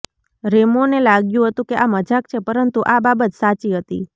રેમોને લાગ્યું હતું કે આ મજાક છે પરંતુ આ બાબત સાચી હતી